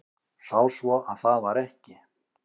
Sá svo að það var ekki.